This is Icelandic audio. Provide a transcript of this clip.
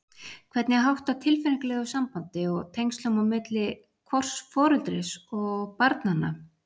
Hvernig er háttað tilfinningalegu sambandi og tengslum á milli hvors foreldris og barnanna?